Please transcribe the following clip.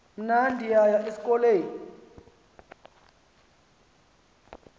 mna ndiyaya esikolweni